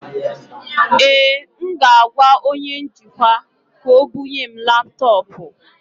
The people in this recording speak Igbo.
Ee, m ga-agwa onye njikwa ka o bụnye m laptọọpụ